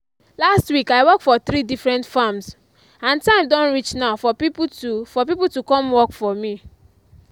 last week i work for three different farms and time don reach now for people to for people to come work for me.